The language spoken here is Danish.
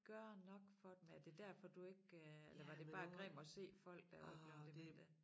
Gøre nok for dem er det derfor du ikke øh eller var det bare grim at se folk der er blevet demente